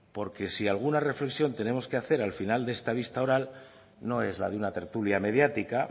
porque si alguna reflexión tenemos que hacer al final de esta vista oral no es la de una tertulia mediática